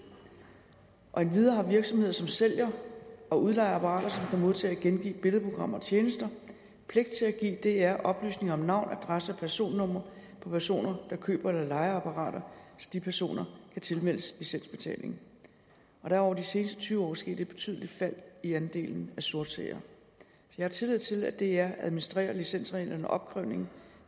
endvidere har virksomheder som sælger og udlejer apparater som kan modtage og gengive billedprogrammer og tjenester pligt til at give dr oplysninger om navn adresse og personnummer på personer der køber eller lejer apparater så de personer kan tilmeldes licensbetalingen der er over de seneste tyve år sket et betydeligt fald i andelen af sortseere jeg har tillid til at dr administrerer licensreglerne og opkrævningen